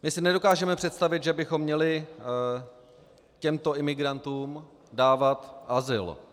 My si nedokážeme představit, že bychom měli těmto imigrantům dávat azyl.